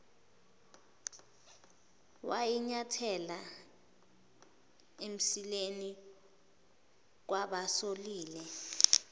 wayinyathela emsileni kubasolile